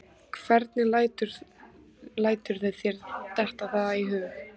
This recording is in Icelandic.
Hvernig læturðu þér detta það í hug?